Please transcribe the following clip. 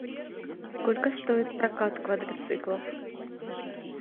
сколько стоит прокат квадроциклов